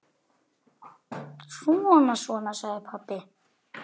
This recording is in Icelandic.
Svona, svona, sagði pabbi.